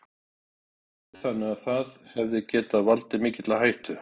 Andri: Þannig að það hefði getað valdið mikilli hættu?